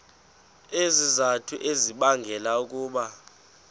izizathu ezibangela ukuba